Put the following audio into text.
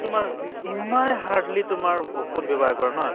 তোমাৰ ইমানে hardly তোমাৰ ঔষ্ধ ব্য়ৱহাৰ কৰে নহয়